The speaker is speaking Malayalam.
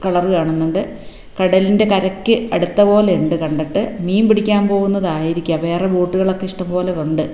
കളറ് കാണുന്നുണ്ട് കടലിൻറെ കരയ്ക്ക് അടുത്തപോലെയുണ്ട് കണ്ടിട്ട് മീൻ പിടിക്കാൻ പോകുന്നതായിരിക്കാം വേറെ ബോട്ടുകളൊക്കെ ഇഷ്ടം പോലെ ഒണ്ട്.